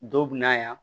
Dɔw bɛ na yan